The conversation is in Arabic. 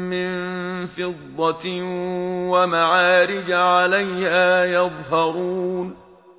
مِّن فِضَّةٍ وَمَعَارِجَ عَلَيْهَا يَظْهَرُونَ